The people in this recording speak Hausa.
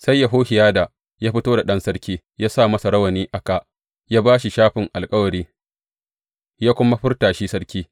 Sai Yehohiyada ya fito da ɗan sarki ya sa masa rawani a kā; ya ba shi shafin alkawari, ya kuma furta shi sarki.